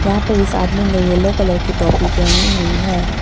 यहां पर इस आदमी ने येलो कलर की टोपी पहनी हुई है।